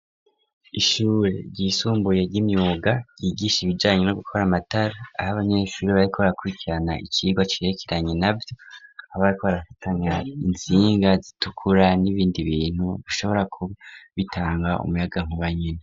Ishure ryisumbuye ry'imyuga ryigisha ibijanye no gukora amatara, aho abanyeshuri bariko barakurikirana icigwa cirekeranye navyo. Abariko barafatanya intsinga zitukura n'ibindi bintu bishobora kuba bitanga umuyagankuba nyene.